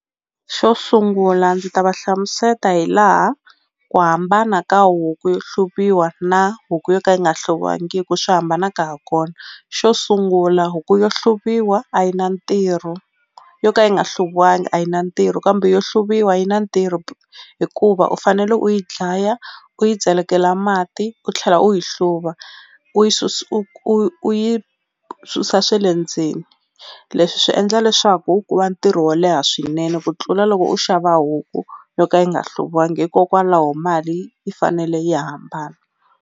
Xo sungula ndzi ta va hlamuseta hi laha ku hambana ka huku yo hluviwa na huku yo ka yi nga hluviwangiku swi hambana ka ha kona xo sungula huku yo hluviwa a yi na ntirho yo ka yi nga hluviwangi a yi na ntirho kambe yo hluriwa yi na ntirho hikuva u fanele u yi dlaya u yi celekela mati u tlhela u yi hluva u yi u u u yi susa swe le ndzeni leswi swi endla leswaku ku va ntirho wo leha swinene ku tlula loko u xava huku yo ka yi nga hluviwangi hikokwalaho mali yi fanele yi hambana.